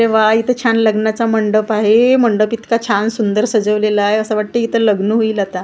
अरे वा इथ छान लग्नाचा मंडप आहे मंडप इतका छान सुंदर सजवलेला आहे असं वाटतंय इथ लग्न होईल आता.